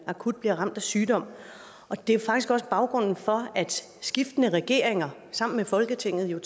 akut bliver ramt af sygdom det er faktisk også baggrunden for at skiftende regeringer sammen med folketinget jo